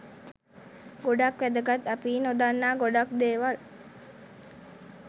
ගොඩක් වැදගත් අපි නොදන්නා ගොඩක් දේවල්